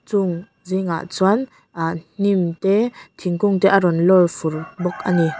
chung zingah chuan ahh hming te thingkung te a rawn lawr fur bawk a ni .